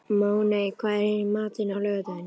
Máney, hvað er í matinn á laugardaginn?